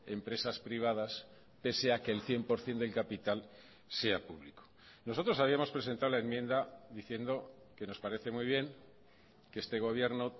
empresas privadas pese a que el cien por ciento del capital sea público nosotros habíamos presentado la enmienda diciendo que nos parece muy bien que este gobierno